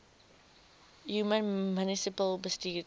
human munisipale bestuurder